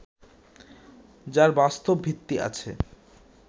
যার বাস্তব ভিত্তি আছে